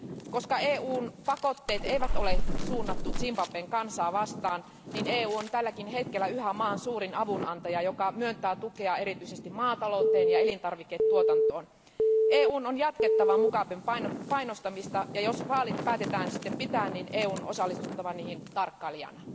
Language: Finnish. Koska EUn pakotteet eivät ole suunnattuja Zimbabwen kansaa vastaan, EU on vielä tälläkin hetkellä maan suurin avunantaja, joka myöntää tukea erityisesti maatalouteen ja elintarviketuotantoon. EUn on jatkettava Mugaben painostamista, ja jos vaalit päätetään sitten pitää, EUn on osallistuttava niihin tarkkailijana.